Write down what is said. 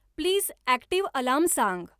please active alarm सांग